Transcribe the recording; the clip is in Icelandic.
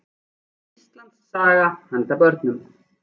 Íslandssaga handa börnum.